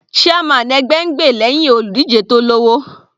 Chairman ẹgbẹ́ ń gbè lẹ́hìn olùdíje tó lọ́wọ́.